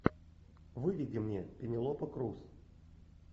выведи мне пенелопа крус